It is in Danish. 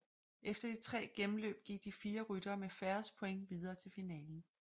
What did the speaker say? Efter de tre gennemløb gik de fire ryttere med færrest points videre til finalen